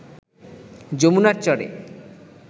যমুনার চরে